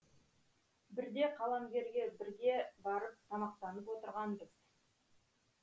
бірде қаламгерге бірге барып тамақтанып отырғанбыз